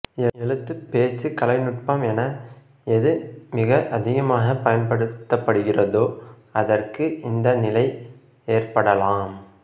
எழுத்து பேச்சு கலைநுட்பம் என எது மிக அதிகமாகப் பயன்படுத்தப்படுகிறதோ அதற்கு இந்த நிலை ஏற்படலாம்